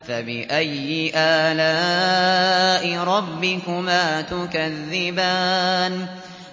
فَبِأَيِّ آلَاءِ رَبِّكُمَا تُكَذِّبَانِ